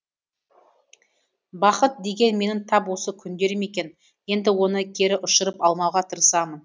бақыт деген менің тап осы күндерім екен енді оны кері ұшырып алмауға тырысамын